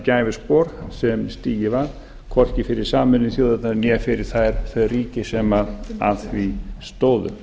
gæfuspor sem stigið var hvorki fyrir sameinuðu þjóðirnar bar fyrir þau ríki sem að því stóðu